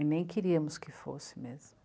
E nem queríamos que fosse mesmo.